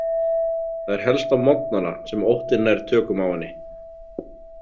Það er helst á morgnana sem óttinn nær tökum á henni.